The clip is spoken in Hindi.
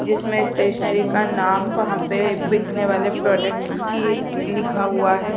जिसमें स्टेशनरी का नाम वहाँ पे बिकने वाले प्रोडक्ट्स की लिखा हुआ हैं।